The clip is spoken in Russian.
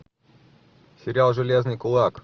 сериал железный кулак